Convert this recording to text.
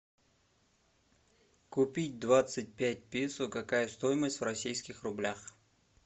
купить двадцать пять песо какая стоимость в российских рублях